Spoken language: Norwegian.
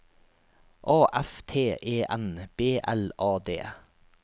A F T E N B L A D